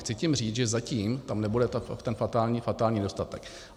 Chci tím říct, že zatím tam nebude ten fatální nedostatek.